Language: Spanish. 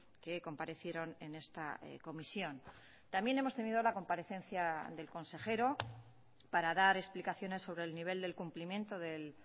que comparecieron en esta comisión también hemos tenido la comparecencia del consejero para dar explicaciones sobre el nivel del cumplimiento del